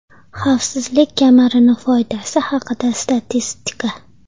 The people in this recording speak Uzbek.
Xavfsizlik kamarini foydasi haqida statistika.